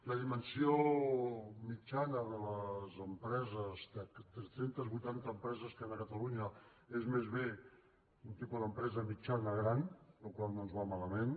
la dimensió mitjana de les empreses tres cents i vuitanta empreses que hi ha a catalunya és més bé un tipus d’empresa mitjana gran la qual cosa no ens va malament